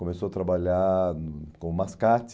Começou a trabalhar hum como mascate.